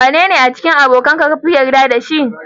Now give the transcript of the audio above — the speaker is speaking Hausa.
Wannne a cikin abokanka kafi yarda da shi?